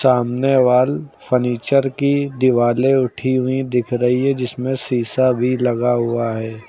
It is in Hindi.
सामने वॉल फर्नीचर की दीवाले उठी हुई दिख रही है जिसमें शीशा भी लगा हुआ है।